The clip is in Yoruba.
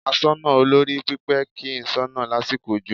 Asoná olórí pípé kì í soná lásìkò òjò